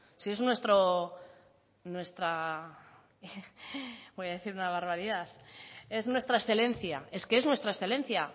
si es nuestro nuestra bueno voy a decir una barbaridad es nuestra excelencia es que es nuestra excelencia